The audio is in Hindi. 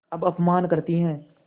अब अपमान करतीं हैं